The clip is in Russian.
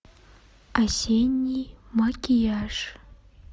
осенний макияж